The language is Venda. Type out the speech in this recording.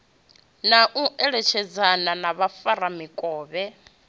na u eletshedzana na vhafaramikovhe